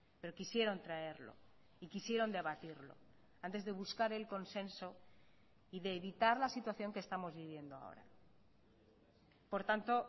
pero quisieron traerlo y quisieron debatirlo antes de buscar el consenso y de evitar la situación que estamos viviendo ahora por tanto